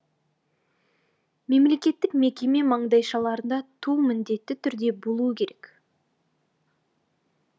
мемлекеттік мекеме маңдайшаларында ту міндетті түрде болуы керек